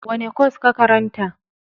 Wane kwas ka karanta?